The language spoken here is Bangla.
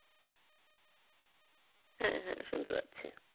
হ্যাঁ হ্যাঁ শুনতে পাচ্ছি